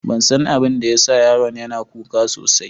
Ban san abin da ya sa yaron yana kuka sosai.